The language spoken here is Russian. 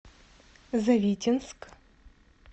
завитинск